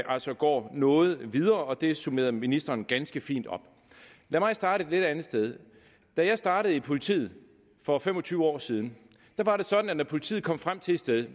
altså går noget videre og det summerede ministeren ganske fint op lad mig starte et lidt andet sted da jeg startede i politiet for fem og tyve år siden var det sådan at når politiet kom frem til et sted